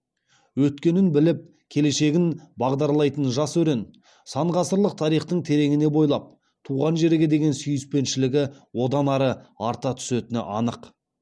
өткенін біліп келешегін бағдарлайтын жас өрен сан ғасырлық тарихтың тереңіне бойлап туған жерге деген сүйіспеншілігі одан ары арта түсетіні анық